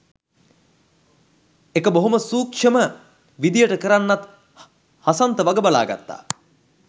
එක බොහොම සුක්ෂම විදියට කරන්නත් හසන්ත වගබලා ගත්තා